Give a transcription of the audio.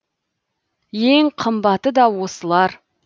ең қымбаты да осылар